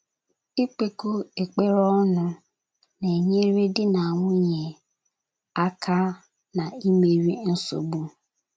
Ikpekọ ekpere ọnụ na - enyere di na nwunye aka na-ịmeri nsogbu